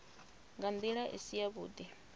nga ndila i si yavhudi